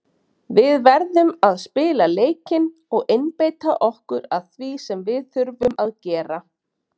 Við verðum að spila leikinn og einbeita okkur að því sem við þurfum að gera.